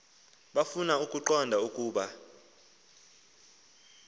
bafuna ukuqonda ukuba